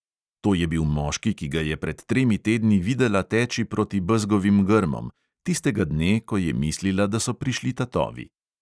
To je bil moški, ki ga je pred tremi tedni videla teči proti bezgovim grmom, tistega dne, ko je mislila, da so prišli tatovi.